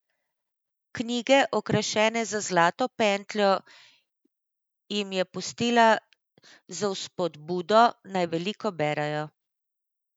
Knjige, okrašene z zlato pentljo, jim je pustila z vzpodbudo, naj veliko berejo.